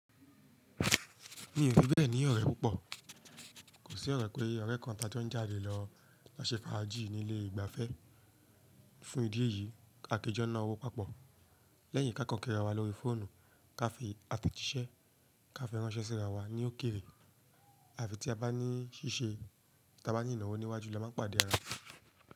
Mi ò fi bẹ́ẹ̀ ní ọ̀rẹ́ púpọ̀. Kò sí ọ̀rẹ́ pé ọ̀rẹ́ kan tí a jó ń jáde lọ, ló ṣe fàájì ní ilé ìgbafẹ́. Fún ìdí èyí, a kí jọ́ náa owó pàpọ̀ lẹ́yìn kí a kań ki ara wa lórí fóònù, ká fi àtẹ̀jíṣẹ́ ká fi ránṣẹ́ síra wa ní ókéré àfi tí a bá ní ṣíṣe tí a bá ní ìnáwó níwájú la máa ń pàdé ara wa.